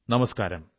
നമസ്കാരം